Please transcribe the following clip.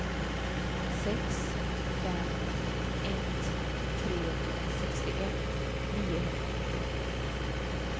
sex fem ett tre sextioett niohundrafemtioåtta